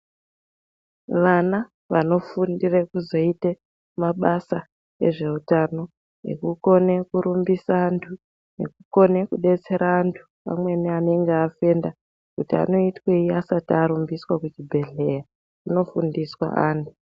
Vana vano fundira kuzoita mabasa ezve hutano ekukone kurumbisa antu nekukona kudetsera antu vamweni anenge afenda kuti anoitwei asati Arumbiswa kuchi bhedhlera zvino fundiswa antu.